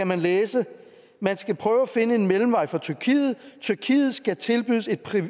man læse man skal prøve at finde en mellemvej for tyrkiet tyrkiet skal tilbydes et